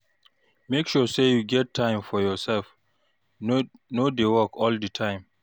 Make sure sey you get time for yoursef, no dey work all di time.